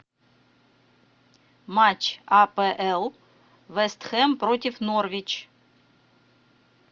матч апл вест хэм против норвич